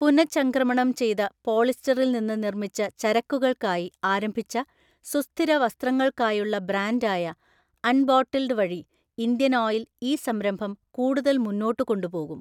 പുനഃചംക്രമണം ചെയ്ത പോളിസ്റ്ററിൽ നിന്ന് നിർമ്മിച്ച ചരക്കുകൾക്കായി ആരംഭിച്ച സുസ്ഥിര വസ്ത്രങ്ങൾക്കായുള്ള ബ്രാൻഡായ അൺബോട്ടിൽഡ് വഴി ഇന്ത്യൻ ഓയിൽ ഈ സംരംഭം കൂടുതൽ മുന്നോട്ട് കൊണ്ടുപോകും.